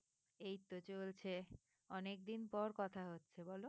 এইতো চলছে অনেকদিন পর কথা হচ্ছে বলো?